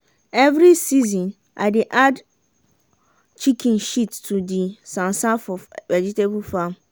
every season i dey add chicken shit to di sansan for vegetable farm.